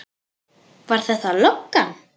Var þetta löggan?